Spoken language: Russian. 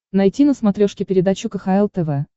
найти на смотрешке передачу кхл тв